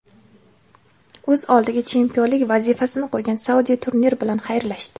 O‘z oldiga chempionlik vazifasini qo‘ygan Saudiya turnir bilan xayrlashdi.